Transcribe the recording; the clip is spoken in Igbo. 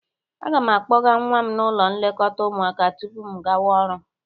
Aga m akpọga nwa m n'ụlọ nlekọta ụmụaka tupu m gawa ọrụ.